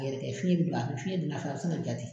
fiyɛn bɛ don a fɛ fiyɛn don n'a fɛ a bɛ sin ka ja ten.